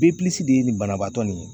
de ye nin banabaatɔ nin ye.